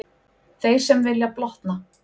Þeir sem vilja blotna.